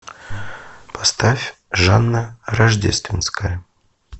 поставь жанна рождественская